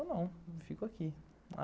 Eu não, eu fico aqui.